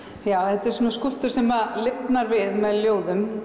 þetta er svona skúlptúr sem lifnar við með ljóðum